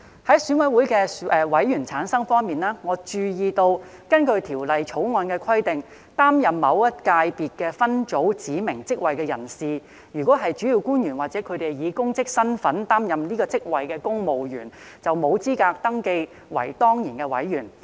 在選委會的委員產生方面，我注意到，根據《條例草案》的規定，擔任某一界別分組指明職位的人士，如果是主要官員或以公職身份擔任該職位的公務員，便沒有資格登記為當然委員。